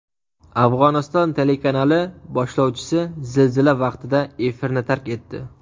Afg‘oniston telekanali boshlovchisi zilzila vaqtida efirni tark etdi .